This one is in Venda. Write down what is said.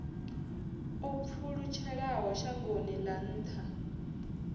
o pfulutshelaho shangoni ḽa nnḓa